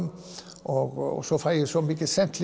og flóamörkuðum svo fæ ég svo mikið sent